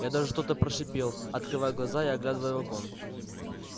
я даже что-то прошипел открывая глаза и оглядывая вагон